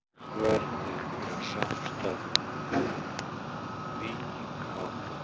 Hvernig er samstarfinu við Víking háttað?